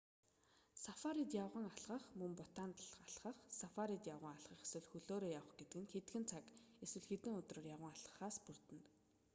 сафарид явган алхах мөн бутанд алхах сафарид явган алхах эсвэл хөлөөрөө явах гэдэг нь хэдхэн цаг эсвэл хэдэн өдрөөр явган алхахаас бүрддэг